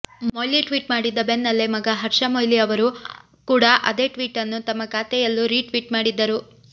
Moily tweet ಮಾಡಿದ್ದ ಬೆನ್ನಲ್ಲೇ ಮಗ ಹರ್ಷ ಮೊಯ್ಲಿ ಅವರು ಕೂಡ ಅದೇ ಟ್ವೀಟನ್ನು ತಮ್ಮ ಖಾತೆಯಲ್ಲೂ ರಿಟ್ವೀಟ್ ಮಾಡಿದ್ದರು